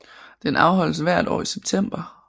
Den afholdes hvert år i september